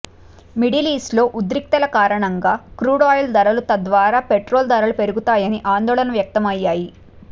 middle ఈస్ట్లో ఉద్రిక్తతల కారణంగా క్రూడాయిల్ ధరలు తద్వారా పెట్రోల్ ధరలు పెరుగుతాయని ఆందోళనలు వ్యక్తమయ్యాయి